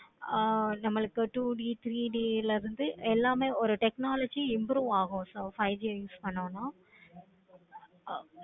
ஆஹ் நமக்கு two D three D ல இருந்து எல்லாமே ஒரு technology improve ஆகும். five G use பண்ணனும்.